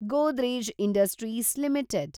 Godrej industries limited